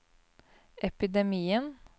epidemien